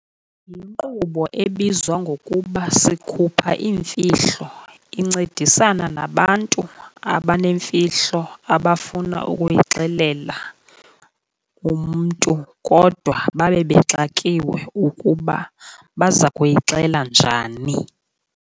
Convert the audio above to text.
Yinkqubo ebizwa ngokuba sikhupha iimfihlo, incedisana nabantu abanemfihlo abafuna ukuyixelela umntu kodwa babe bexakiwe ukuba baza kuyixela njani.